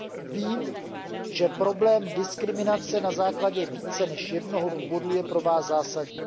Vím, že problém diskriminace na základě více než jednoho důvodu je pro vás zásadní.